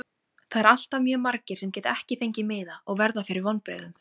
Það eru alltaf mjög margir sem geta ekki fengið miða og verða fyrir vonbrigðum.